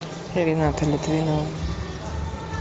рената литвинова